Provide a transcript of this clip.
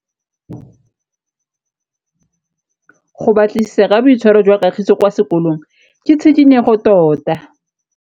Go batlisisa ka boitshwaro jwa Kagiso kwa sekolong ke tshikinyêgô tota.